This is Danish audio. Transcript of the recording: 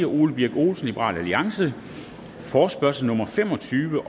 ole birk olesen forespørgsel nummer fem og tyve